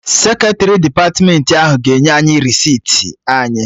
Seketrị depatmentị ahụ ga-enye anyị resiti anyị